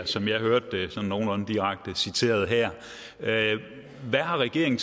som jeg hørte det sådan nogenlunde direkte citeret her hvad har regeringen